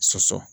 Soso